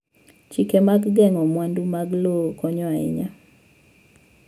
Chike mag geng'o mwandu mag lowo konyo ahinya.